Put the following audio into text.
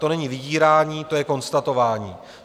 To není vydírání, to je konstatování.